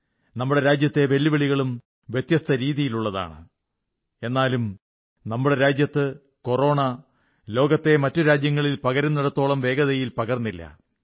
നമ്മുടെ രാജ്യത്തെ വെല്ലുവിളികളും വ്യത്യസ്ത രീതിയിലുള്ളതാണ് എന്നാലും നമ്മുടെ രാജ്യത്ത് കൊറോണ ലോകത്തിലെ മറ്റു രാജ്യങ്ങളിൽ പകരുന്നിടത്തോളം വേഗതയിൽ പകർന്നില്ല